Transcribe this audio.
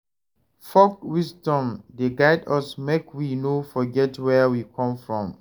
Folk wisdom dey guide us make we no forget where we come from.